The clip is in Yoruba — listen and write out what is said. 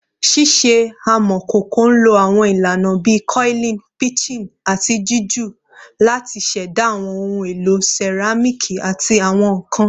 Ṣiṣe amọkoko nlo awọn ilana bii coiling, pinching, ati jiju lati ṣẹda awọn ohun elo seramiki ati awọn nkan